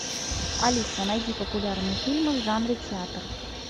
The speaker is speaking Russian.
алиса найди популярные фильмы в жанре театр